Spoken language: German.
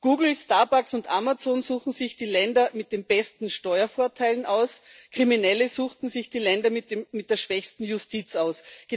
Google, Starbucks und Amazon suchten sich die Länder mit den besten Steuervorteilen aus, Kriminelle suchten sich die Länder mit der schwächsten Justiz aus.